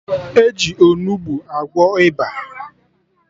E ji Onugbu agwọ ịba